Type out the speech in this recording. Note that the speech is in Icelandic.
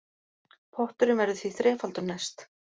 Potturinn verður því þrefaldur næst